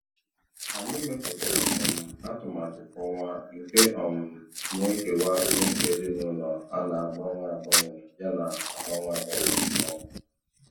Anyị mepụtara um atụmatụ kwa ọnwa nke um na-ekewa mmefu ezinụlọ a na-agbanwe agbanwe yana agbanwe agbanwe. um